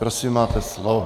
Prosím, máte slovo.